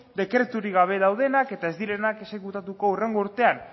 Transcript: dekreturik gabe daudenak eta ez direnak exekutatuko hurrengo urtean